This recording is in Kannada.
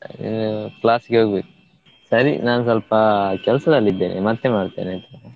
ಹ್ಮ್‌ class ಗೆ ಹೋಗ್ಬೇಕು. ಸರಿ ನಾನ್ ಸ್ವಲ್ಪ ಕೆಲ್ಸದಲ್ಲಿ ಇದ್ದೇನೆ, ಮತ್ತೆ ಮಾಡ್ತೇನೆ ಆಯ್ತಾ?